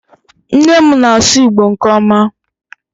nne m na-asu igbo nke oma